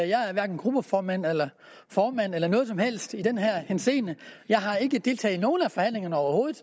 jeg er hverken gruppeformand eller formand eller noget som helst i den henseende jeg har ikke deltaget i nogen af forhandlingerne overhovedet